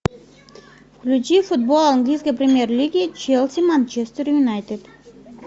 включи футбол английской премьер лиги челси манчестер юнайтед